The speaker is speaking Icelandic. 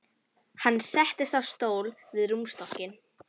Hann settist á stól við rúmstokkinn.